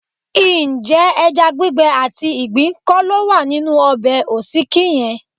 Ǹjẹ́ ẹja gbígbẹ àti ìgbín kọ́ ló wà nínú ọbẹ̀ òsíkí yẹn?